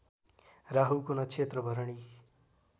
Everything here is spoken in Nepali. राहुको नक्षत्र भरणी